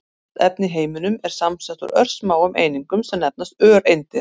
Allt efni í heiminum er samsett úr örsmáum einingum sem nefnast öreindir.